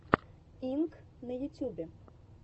инк на ютьюбе